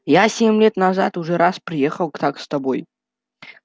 я семь лет назад уже раз приехал к так с тобой